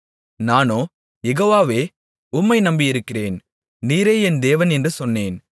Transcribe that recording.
நானோ யெகோவாவே உம்மை நம்பியிருக்கிறேன் நீரே என் தேவன் என்று சொன்னேன்